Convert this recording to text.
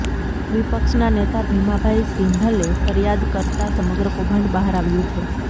વિપક્ષના નેતા ભીમાભાઇ સિંધલે ફરિયાદ કરતા સમગ્ર કૌભાંડ બહાર આવ્યું છે